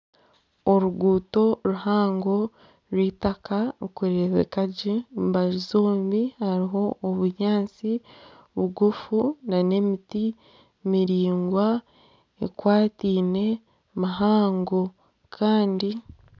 Oruguuto ruhango rw'eitaka rurikurebeka gye omu mbaju zombi hariho obunyaatsi bugufu na n'emiti miringwa ekwatiine mihango.